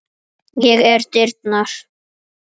Ég er dyrnar.